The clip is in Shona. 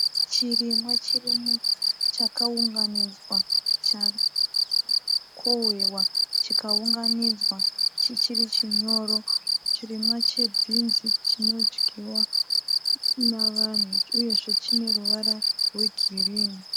Chirimwa chakaunganidzwa. Chakohwewa chikaunganidzwa chichiri chinyoro. Chirimwa chebhinzi chinodyiwa nevanhu uyezve chine ruvara rwegirini.